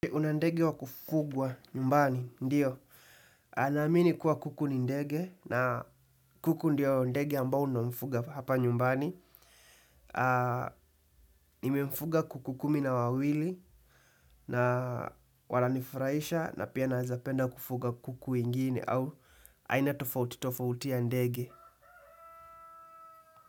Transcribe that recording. Kuna ndege wa kufugwa nyumbani, ndiyo. Ana amini kuwa kuku ni ndege na kuku ndiyo ndege ambao unamfuga hapa nyumbani. Nimemfuga kuku kumi na wawili na wananifuraisha na pia naweza penda kufuga kuku ingine au aina tofauti tofauti ya ndege.